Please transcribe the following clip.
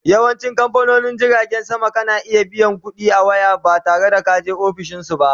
Yawancin kamfanonin jiragen sama kana iya biyan ƙuɗi a waya ba tare da kaje ofishinsu ba